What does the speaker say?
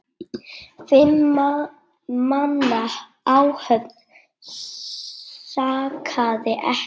Fimm manna áhöfn sakaði ekki.